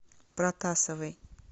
протасовой